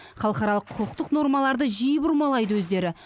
халықаралық құқықтық нормаларды жиі бұрмалайды өздері